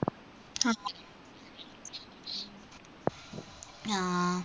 ആ